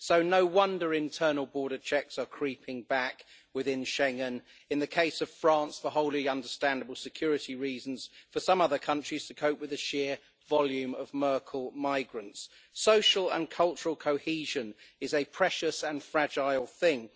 So no wonder internal border checks are creeping back within Schengen in the case of France, for wholly understandable security reasons, and for some other countries, to cope with the sheer volume of Merkel migrants. Social and cultural cohesion is a precious and fragile thing.